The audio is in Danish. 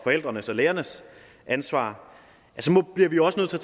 forældrenes og lærernes ansvar så bliver vi også nødt til